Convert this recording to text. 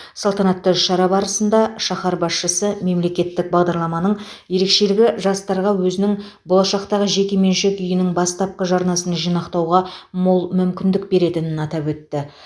салтанатты шара барысында шаһар басшысы мемлекеттік бағдарламаның ерекшілігі жастарға өзінің болашақтағы жеке меншік үйінің бастапқы жарнасын жинақтауға мол мүмкіндік беретінін атап өтті